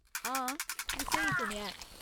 हां, तूं स्हेई सुनेआ ऐ।